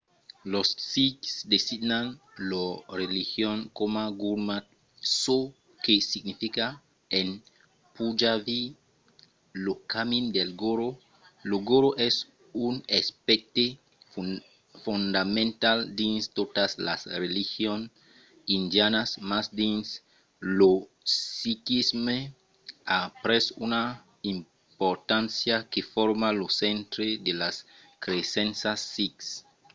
los sikhs designan lor religion coma gurmat çò que significa en punjabi lo camin del goró". lo goró es un aspècte fondamental dins totas las religions indianas mas dins lo sikhisme a pres una importància que forma lo centre de las cresenças sikhs